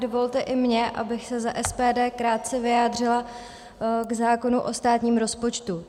Dovolte i mně, abych se za SPD krátce vyjádřila k zákonu o státním rozpočtu.